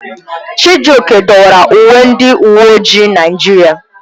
Chijioke dọwara uwe ndị uwe ojii Naịjirịa.